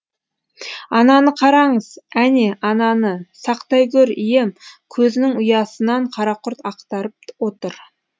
ананы қараңыз әне ананы сақтай гөр ием көзінің ұясынан қара құрт ақтарып отыр